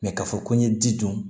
k'a fɔ ko n ye ji dun